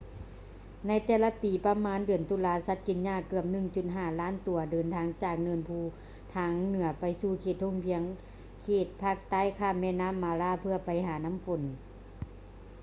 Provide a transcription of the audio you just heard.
ໃນແຕ່ລະປີປະມານເດືອນຕຸລາ ສັດກິນຫຍ້າເກືອບ 1.5 ລ້ານຕົວເດີນທາງຈາກເນີນພູທາງເໜືອໄປສູ່ເຂດທົ່ງພຽງເຂດພາກໃຕ້ຂ້າມແມ່ນໍ້າ mara ເພື່ອໄປຫານ້ຳຝົນ